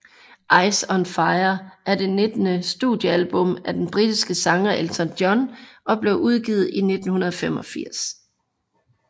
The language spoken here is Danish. Ice on Fire er det nittende studiealbum af den britiske sanger Elton John og blev udgivet i 1985